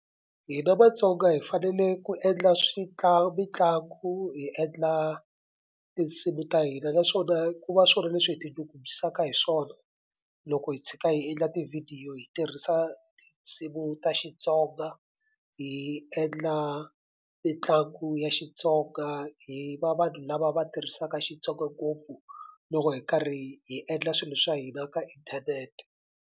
Hina Vatsonga hi fanele ku endla mitlangu hi endla tinsimu ta hina naswona ku va swona leswi hi tinyungubyisaka hi swona loko hi tshika hi endla tivhidiyo hi tirhisa tinsimu ta Xitsonga hi endla mitlangu ya Xitsonga hi va vanhu lava va tirhisaka Xitsonga ngopfu loko hi karhi hi endla swilo swa hina ka inthanete.